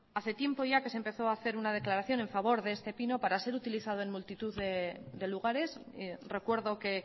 hace tiempo ya que se empezó a hacer una declaración a favor de este pino para ser utilizado en multitud de lugares recuerdo que